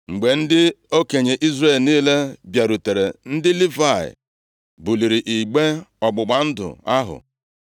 Mgbe ndị okenye Izrel niile bịarutere, ndị Livayị buliri igbe ọgbụgba ndụ ahụ.